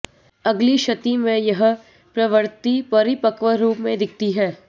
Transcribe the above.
अगली शती में यह प्रवृत्ति परिपक्व रूप में दिखती है